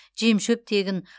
жем шөп тегін